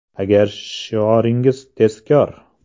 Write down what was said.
Agar shioringiz “Tezkor!